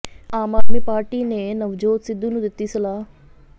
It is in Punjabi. ਆਮ ਆਦਮੀ ਪਾਰਟੀ ਨੇ ਨਵਜੋਤ ਸਿੱਧੂ ਨੂੰ ਦਿੱਤੀ ਸਲਾਹ